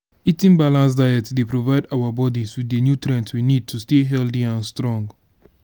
eating balanced diet dey provide our bodies with di nutrients we need to stay healthy and strong.